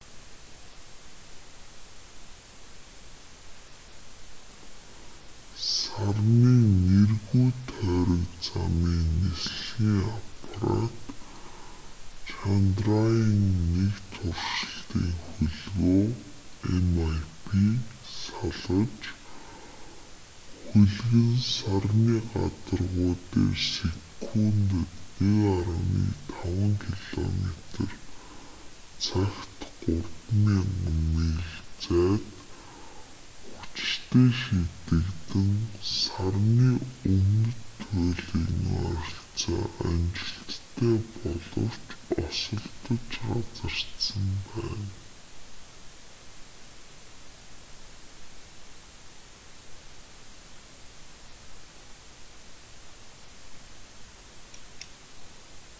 сарны нэргүй тойрог замын нислэгийн аппарат чандраяан-1 туршилтын хөлгөө mip салгаж хөлөг нь сарны гадаргуу дээр секундэд 1,5 километр цагт 3000 миль зайд хүчтэй шидэгдэн сарны өмнөд туйлын ойролцоо амжилттай боловч осолдож газардсан байна